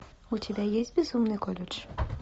у тебя есть безумный колледж